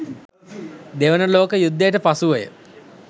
දෙවන ලෝක යුද්ධයට පසුවය.